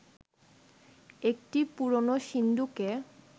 একটি পুরনো সিন্দুকে